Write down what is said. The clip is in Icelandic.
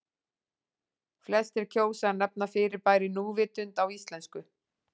Flestir kjósa að nefna fyrirbærið núvitund á íslensku.